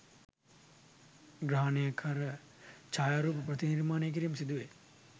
ග්‍රහණය කර ඡායාරූප ප්‍රතිනිර්මාණය කිරීම සිදුවේ.